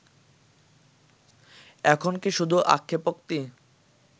এখন কি শুধু আক্ষেপোক্তি